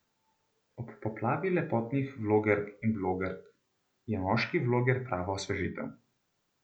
Ob poplavi lepotnih vlogerk in blogerk je moški vloger prava osvežitev.